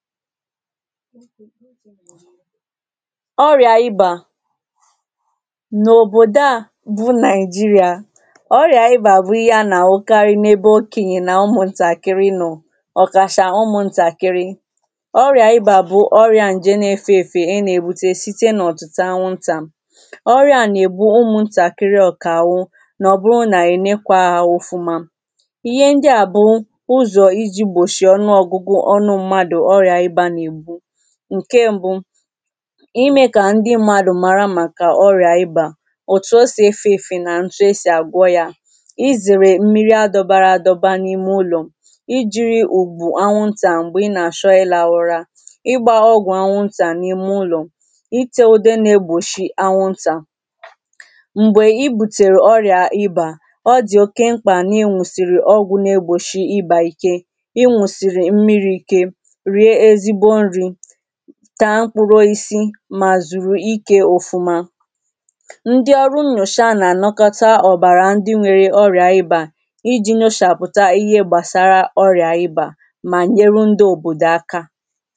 ɔrɪà ɪbà N’òbòdò à bụ Naɪjiria, ọrịà ịbà bụ̀ ihe a nà-àhụkarị n’ebe òkenyè nà ụmụ̀ ntakịrị nọ ọkachà ụmụ̀ ntakịrị. Ọrịà ịba bụ̀ ọrịà ǹjẹ̀ nà-efeefe e nà-èbute site n’ọ̀tị̀tà anwụǹtà. Ọrịà nà-ègbu ụmụ̀ ntakịrị ọ̀kà àhụ Nọ ọ bụrụ nà ẹ̀ lẹkwāā ha òfumà. inyẹ́ ǹdị a bụ ụzọ̀ ìjì gbòchie ọnụ ọ̀gụgụ ọnụ m̀madụ̀ ọrịà ịbà nà-ègbu. Ǹkẹ m̀bụ imẹ kà ndị m̀madụ̀ mara màkà ọrịà ịbà òtù o sì efēēfe nà ǹtu e sì àgwọ ya izèrè m̀miri a dọbara adọba n’ime ụlò I jiri ùgwù anwụǹtà m̀gbè ị nà-àchọ ịlahụra ịgba ọgwụ̀ anwụ̀ǹtà n’ime ụlọ̀ itè udē nà-egbòchi anwụǹtà m̀gbẹ̀ i butèrè ọrịà ịbà ọ dị̀̀ oké m̀kpà nà ị ṅụ̀sịrị ọgwụ̀ nà-egbochi ịbà ikē Ị ṅụ̀sị̀rị̀ m̀miri ikè rie ezìgbò ǹri taa mkpụrụ osisi mā zùru ike òfumā Ndị ọrụ nnyòcha nà ànakọta ọ̀bàrà ǹdị nwere ọrịà ịbà iji nyòchàpụtà ihe gbàsara ọrịà ịbà mā ɲerʊ ndɪ òbòdò akā